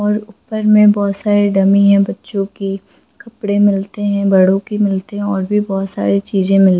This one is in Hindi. और ऊपर मे बहुत सारे डमी है बच्चों के कपड़े मिलते है बड़ों के मिलते है और भी बहुत सारे चीजे मिल--